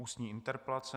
Ústní interpelace